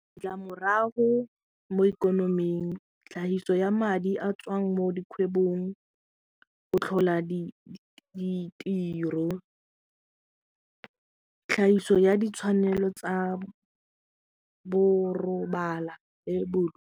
Ditlamorago mo ikonoming tlhahiso ya madi a tswang mo dikgwebong, go tlhola ditiro, tlhahiso ya ditshwanelo tsa borobala le .